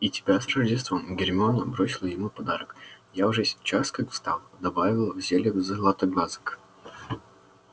и тебя с рождеством гермиона бросила ему подарок я уже час как встала добавила в зелье златоглазок